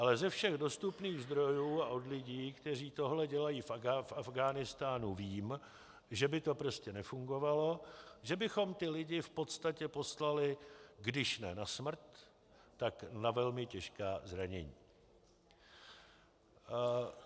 Ale ze všech dostupných zdrojů a od lidí, kteří tohle dělají v Afghánistánu, vím, že by to prostě nefungovalo, že bychom ty lidi v podstatě poslali když ne na smrt, tak na velmi těžká zranění.